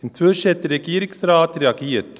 Inzwischen hat der Regierungsrat reagiert.